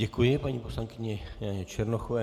Děkuji paní poslankyni Černochové.